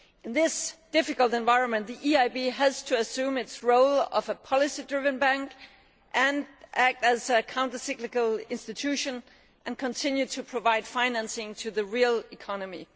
In this difficult environment the EIB has to assume its role of a policy driven bank, to act as a counter cyclical institution and continue to provide financing to the real economy.